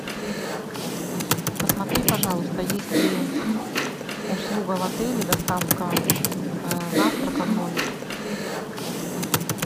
посмотри пожалуйста есть ли услуга в отеле доставка завтрака в номер